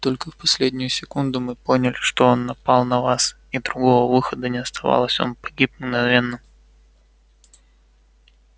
только в последнюю секунду мы поняли что он напал на вас и другого выхода не оставалось он погиб мгновенно